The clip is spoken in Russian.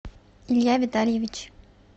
илья витальевич